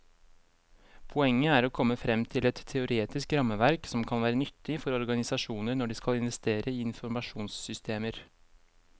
Poenget er å komme frem til et teoretisk rammeverk som kan være nyttig for organisasjoner når de skal investere i informasjonssystemer.